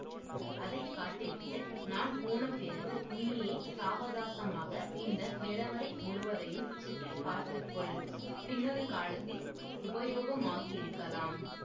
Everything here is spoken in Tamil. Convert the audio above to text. அதை காட்டி விட்டு நான் போன பிறகு நீயே சாவகாசமாக இந்த நிலவறை முழுவதையும் சுற்றி பார்த்து கொள் பின்னொரு காலத்தில் உபயோகமாகயிருக்கலாம்